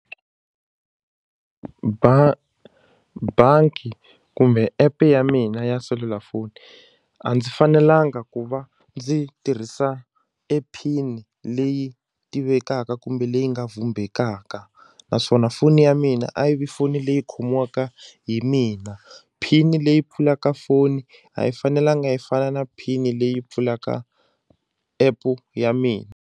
bangi kumbe app ya mina ya selulafoni a ndzi fanelanga ku va ndzi tirhisa e PIN leyi tivekaka kumbe leyi nga vhumbekaka naswona foni ya mina a yi vi foni leyi khomiwaka hi mina PIN leyi pfulaka foni a yi fanelanga yi fana na PIN leyi pfulaka app ya mina.